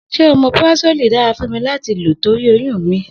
Se omeprazoli dára fún mí láti lọmò torí oyún mi?